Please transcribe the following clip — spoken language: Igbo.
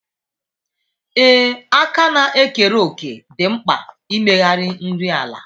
Ee, àkà na-ekere òkè dị mkpa n'ịmegharị nri ala.